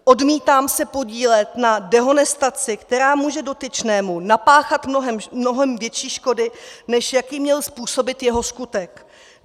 Odmítám se podílet na dehonestaci, která může dotyčnému napáchat mnohem větší škody, než jaké měl způsobit jeho skutek.